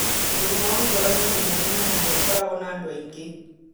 Mũrimũ wa ngoro nĩ ũndũ mũnene na nĩ ũkoragũo na andũ aingĩ.